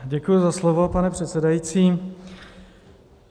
Děkuji za slovo, pane předsedající.